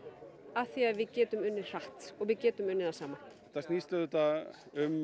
af því að við getum unnið hratt og við getum unnið það saman þetta snýst auðvitað um